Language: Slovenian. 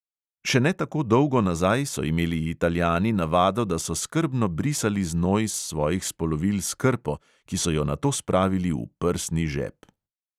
Še ne tako dolgo nazaj so imeli italijani navado, da so skrbno brisali znoj s svojih spolovil s krpo, ki so jo nato spravili v prsni žep.